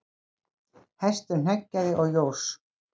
Hestur hneggjaði og jós.